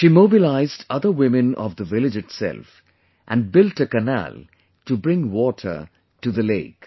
She mobilized other women of the village itself and built a canal to bring water to the lake